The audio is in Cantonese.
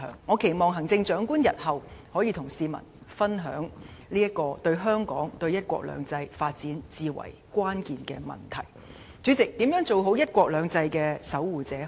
我期望行政長官日後就這個對香港及對"一國兩制"發展至為關鍵的問題，能與市民分享她的想法。